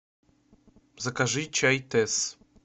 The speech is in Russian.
закажи чай тесс